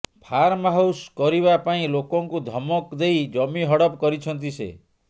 farm house କରିବା ପାଇଁ ଲୋକଙ୍କୁ ଧମକ ଦେଇ ଜମି ହଡପ କରିଛନ୍ତି ସେ